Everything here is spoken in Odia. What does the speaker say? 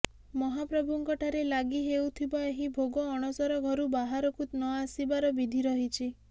ମହାପ୍ରଭୁଙ୍କଠାରେ ଲାଗି ହେଉଥିବା ଏହି ଭୋଗ ଅଣସର ଘରୁ ବାହାରକୁ ନ ଆସିବାର ବିଧି ରହିଛି